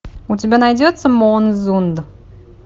у тебя найдется моонзунд